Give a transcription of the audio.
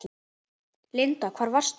Linda: Hvar varstu?